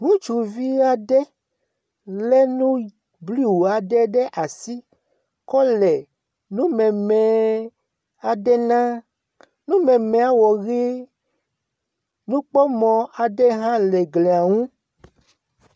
Ŋutsuvi aɖe le nu blu aɖe ɖe asi kɔ le numeme aɖe na numemea wɔ ʋe. nukpɔmɔ aɖe hã le glia ŋu.